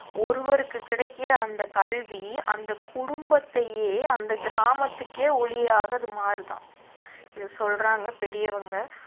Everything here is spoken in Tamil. ஒருவருக்கு கிடைக்கிற அந்த கல்வி அந்த குடும்பத்தையே அந்த கிராமத்துக்கே ஒளியாக அது மாறுதாம் இது சொல்றாங்க பெரியவங்க